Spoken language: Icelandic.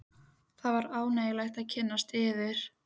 Það var ánægjulegt að kynnast yður.